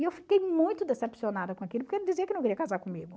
E eu fiquei muito decepcionada com aquilo, porque ele dizia que não queria casar comigo.